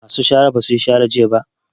Masu shara ba su yi shara ba jiya